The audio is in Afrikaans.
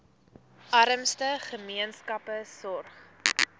armste gemeenskappe sorg